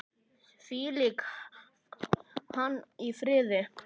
Hvíli hann í friði!